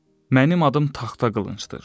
Mənim adım taxta qılıncdır.